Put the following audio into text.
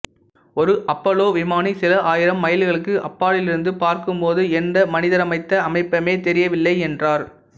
ஒரு அப்போல்லோ விமானி சில ஆயிரம் மைல்களுக்கு அப்பாலிருந்து பார்க்கும் போது எந்த மனிதரமைத்த அமைப்புமே தெரியவில்லை என்றார்